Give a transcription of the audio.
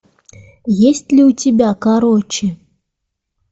есть ли у тебя короче